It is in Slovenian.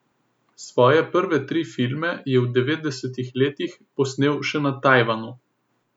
Svoje prve tri filme je v devetdesetih letih posnel še na Tajvanu.